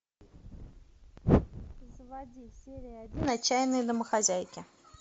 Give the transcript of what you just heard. заводи серия один отчаянные домохозяйки